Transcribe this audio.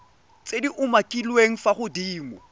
tse di umakiliweng fa godimo